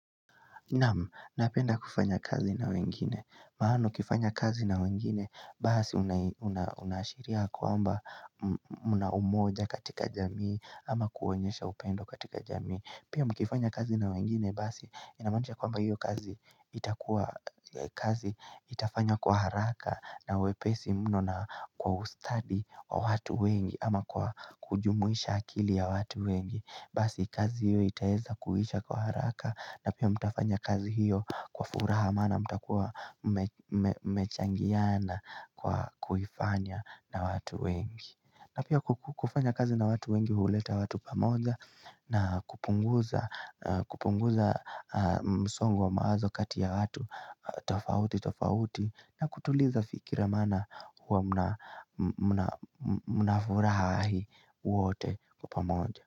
Naam, napenda kufanya kazi na wengine Maana ukifanya kazi na wengine Basi unaashiria kwamba mna umoja katika jamii ama kuonyesha upendo katika jamii Pia mkifanya kazi na wengine Basi inamaanisha kwamba hiyo kazi itakuwa kazi itafanywa kwa haraka na wepesi mno na kwa ustadi wa watu wengi ama kwa kujumuisha akili ya watu wengi Basi kazi hiyo itaeza kuisha kwa haraka na pia mtafanya kazi hiyo kwa furaha maana mtakuwa mmechangiana kwa kuifanya na watu wengi na pia kufanya kazi na watu wengi huleta watu pamoja na kupunguza msongo wa mawazo kati ya watu tofauti tofauti na kutuliza fikira maana huwa mnafurahi wote kwa pamoja.